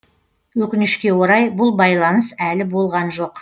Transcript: өкінішке орай бұл байланыс әлі болған жоқ